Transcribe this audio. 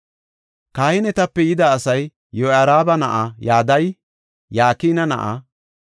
Kahinetape yida asay Yoyaariba na7aa Yadaya, Yakina na7aa;